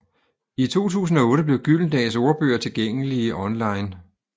I 2008 blev Gyldendals ordbøger tilgængelige online